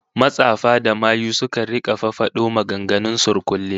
Matsafa da mayu sukan rika fafado maganganun surkulle